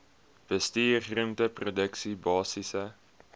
bestuur groenteproduksie basiese